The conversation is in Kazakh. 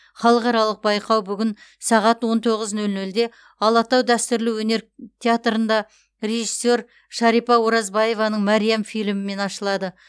халықаралық байқау бүгін сағат он тоғыз нөл нөлде алатау дәстүрлі өнер театрында режиссер шарипа оразбаеваның мәриам фильмімен ашылады